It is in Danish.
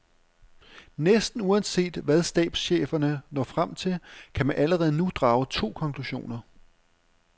Næsten uanset hvad stabscheferne når frem til, kan man allerede nu drage to konklusioner.